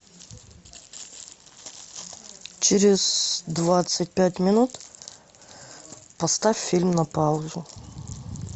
через двадцать пять минут поставь фильм на паузу